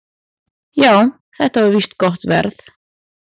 """Já, þetta var víst gott verð."""